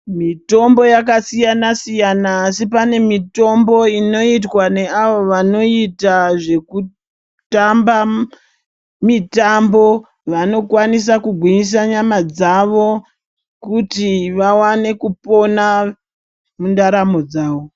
Mitombo yakasiyana siyana asi pane mitombo inoitwa neavo vanoita zvekutamba mutambo vanogwinyisa nyama dzawo kuti vaone kupona mundaramo dzawo.